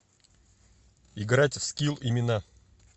играть в скилл имена